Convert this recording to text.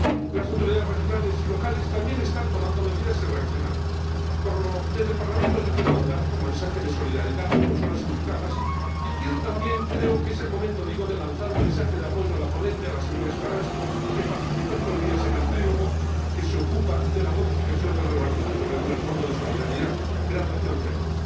Las autoridades regionales y locales también están tomando medidas y reaccionando. Desde el Parlamento Europeo quiero mandar un mensaje de solidaridad a las personas afectadas y quiero también ―creo que es el momento― lanzar un mensaje de apoyo a la ponente, la señora Estaràs, que participa estos días en el trílogo que se ocupa de la modificación del Reglamento que regula el Fondo de Solidaridad, creado hace once años.